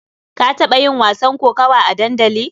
Ka taɓa yin wasan kokawa a dandali?